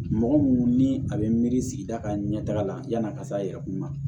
Mɔgɔ minnu ni a bɛ miiri sigida ka ɲɛ taga la yan'a ka se a yɛrɛ kun ma